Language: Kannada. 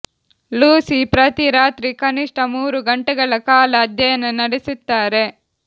ಲೂಸಿ ಪ್ರತಿ ರಾತ್ರಿ ಕನಿಷ್ಠ ಮೂರು ಗಂಟೆಗಳ ಕಾಲ ಅಧ್ಯಯನ ನಡೆಸುತ್ತಾರೆ